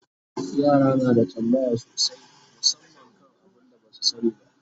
yara na da tambaya sosai musamman kan abun da Basu sani ba